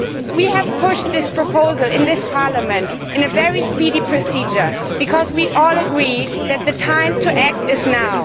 We have pushed forward this proposal in this Parliament in a very speedy procedure because we all agree that the time to act is now.